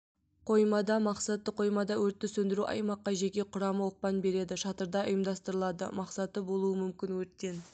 қоймада мақсаты қоймада өртті сөндіру аймаққа жеке құрамы оқпан береді шатырда ұйымдастырылады мақсаты болуы мүмкін өрттен